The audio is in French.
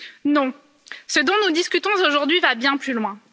Non, ce dont nous discutons aujourd'hui va bien plus loin.